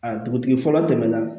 A dugutigi fɔlɔ tɛmɛna